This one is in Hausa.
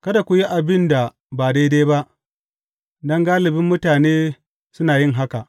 Kada ku yi abin da ba daidai ba, don galibin mutane suna yin haka.